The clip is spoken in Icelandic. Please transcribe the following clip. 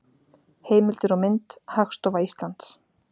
Heimildir og mynd: Hagstofa Íslands.